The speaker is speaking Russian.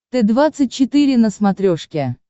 т двадцать четыре на смотрешке